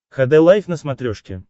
хд лайф на смотрешке